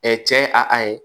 cɛ ye a ye